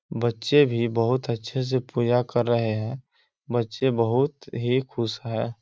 बच्चे भी बहुत अच्छे से पूजा कर रहे हैं बच्चे बहुत ही खुश हैं।